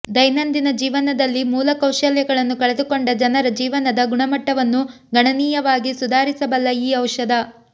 ದೈನಂದಿನ ಜೀವನದಲ್ಲಿ ಮೂಲ ಕೌಶಲ್ಯಗಳನ್ನು ಕಳೆದುಕೊಂಡ ಜನರ ಜೀವನದ ಗುಣಮಟ್ಟವನ್ನು ಗಣನೀಯವಾಗಿ ಸುಧಾರಿಸಬಲ್ಲ ಈ ಔಷಧ